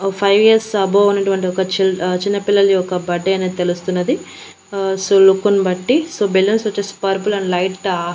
ఓ five years above ఉన్నటువంటి ఒక చిల్ ఆ చిన్నపిల్లల యొక్క బడ్డే అనేది తెలుస్తున్నది సో లుక్కుని బట్టి సో బెలూన్స్ వచ్చేసి పర్పుల్ అండ్ లైటా --